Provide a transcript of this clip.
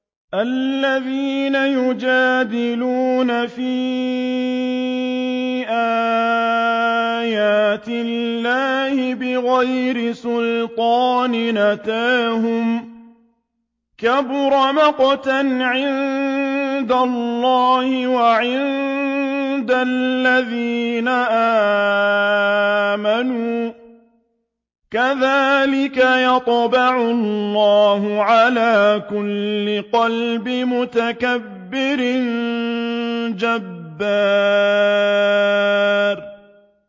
الَّذِينَ يُجَادِلُونَ فِي آيَاتِ اللَّهِ بِغَيْرِ سُلْطَانٍ أَتَاهُمْ ۖ كَبُرَ مَقْتًا عِندَ اللَّهِ وَعِندَ الَّذِينَ آمَنُوا ۚ كَذَٰلِكَ يَطْبَعُ اللَّهُ عَلَىٰ كُلِّ قَلْبِ مُتَكَبِّرٍ جَبَّارٍ